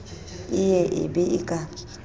e ye e be ka